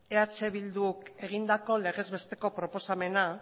eh bilduk egindako legez besteko proposamena